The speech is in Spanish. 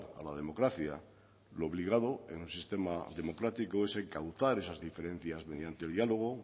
a la democracia lo obligado en un sistema democrático es encauzar esas diferencias mediante el diálogo